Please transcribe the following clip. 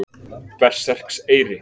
Berserkseyri